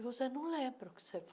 E você não lembra o que você.